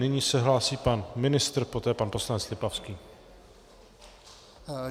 Nyní se hlásí pan ministr, poté pan poslanec Lipavský.